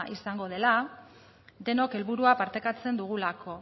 izango dela denok helburua partekatzen dugulako